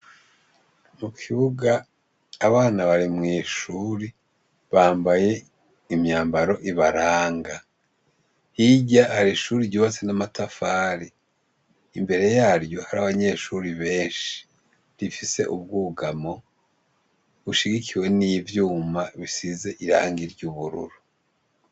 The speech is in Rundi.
Mu kibuga abana bari mw'ishuri, bambaye imyambaro ibaranga, hirya ari ishuri ryubatse n'amatafari imbere yaryo hari abanyeshuri benshi, rifise ubwugamo ushigikiwe n'ivyuma, bisize ira ang irye ubururu.